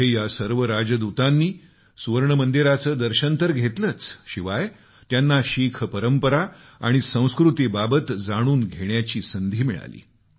तिथं या सर्व राजदूतांनी सुवर्ण मंदिराचं दर्शन तर घेतलं शिवाय त्यांना शीख परंपरा आणि संस्कृतीबाबत जाणून घेण्याची संधी मिळाली